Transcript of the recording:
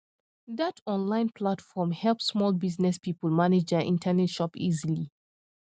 that online platform help small business people manage their internet shop easily